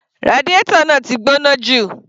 Radiator náà ti gbóná jù.